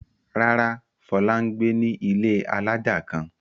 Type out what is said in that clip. Rárá, Fọlá ń gbé ní ilé alájà kan.